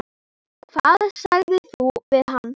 Hvað sagðir þú við hann?